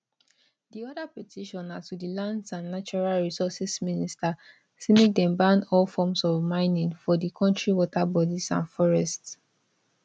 di oda petition na to di lands and natural resources minister say make dem ban all forms of mining for di kontri waterbodies and forests